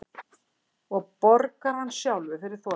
Og borgar hann sjálfur fyrir þotuna